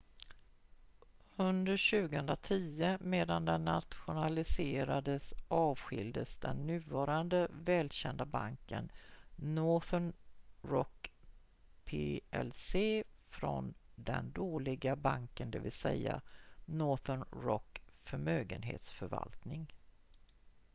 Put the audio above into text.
"under 2010 medan den nationaliserades avskiljdes den nuvarande välkända banken northern rock plc från "den dåliga banken" dvs. northern rock förmögenhetsförvaltning.